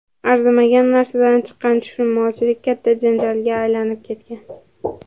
Arzimagan narsadan chiqqan tushunmovchilik katta janjalga aylanib ketgan.